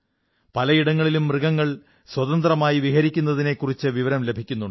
പല ഇടങ്ങളിലും മൃഗങ്ങൾ സ്വതന്ത്രമായി വിഹരിക്കുന്നതിനെക്കുറിച്ചും വിവരം ലഭിക്കുന്നുണ്ട്